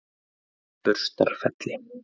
Burstarfelli